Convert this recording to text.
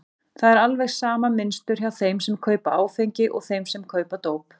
Það er alveg sama mynstur hjá þeim sem kaupa áfengi og þeim sem kaupa dóp.